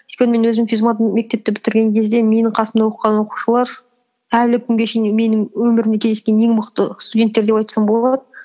өйткені мен өзім физмат мектепті бітірген кезде менің қасымда оқыған оқушылар әлі күнге шейін менің өміріме кездескен ең мықты студенттер деп айтсам болады